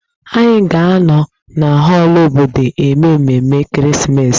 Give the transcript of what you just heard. Anyị ga-anọ na họọlụ obodo eme ememe ekeresimesi